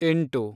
ಎಂಟು